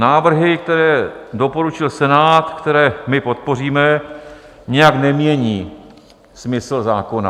Návrhy, které doporučil Senát, které my podpoříme, nijak nemění smysl zákona.